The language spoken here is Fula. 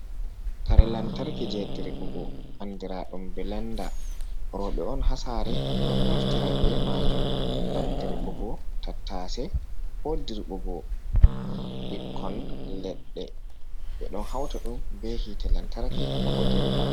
Kare lantarki jey diriɓugo andiraaɗum bilanda, rowɓe on haa saare ɗon naftira be maajum, ngam dirɓugo tattase, ko dirɓugo ɓikkon leɗɗe. Ɓe ɗon hawta ɗum, be yiite lantarki bako dirɓa.